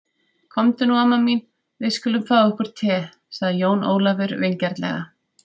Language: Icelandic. Komdu nú amma mín, við skulum fá okkur te, sagði Jón Ólafur vingjarnlega.